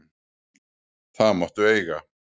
Það máttu eiga.